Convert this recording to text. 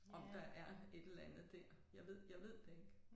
Om der er et eller andet dér. Jeg ved jeg ved det ikke